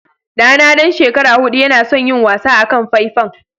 Ɗana ɗan shekara huɗu yana son yin wasa akan faifan.